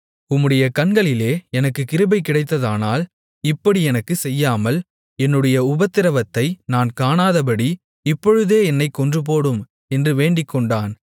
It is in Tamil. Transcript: உம்முடைய கண்களிலே எனக்குக் கிருபை கிடைத்ததானால் இப்படி எனக்குச் செய்யாமல் என்னுடைய உபத்திரவத்தை நான் காணாதபடி இப்பொழுதே என்னைக் கொன்றுபோடும் என்று வேண்டிக்கொண்டான்